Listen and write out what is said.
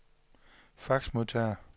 faxmodtager